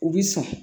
U bi sɔn